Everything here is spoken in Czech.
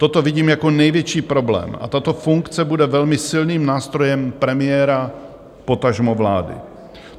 Toto vidím jako největší problém a tato funkce bude velmi silným nástrojem premiéra, potažmo vlády.